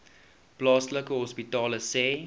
plaaslike hospitale sê